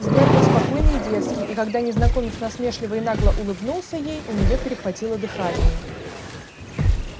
взгляд был спокойный и дерзкий и когда незнакомец насмешливо и нагло улыбнулся ей у нее перехватило дыхание